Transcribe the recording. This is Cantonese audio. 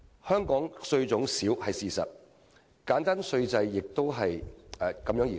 香港稅種少是事實，而簡單稅制的稱譽亦因此而來。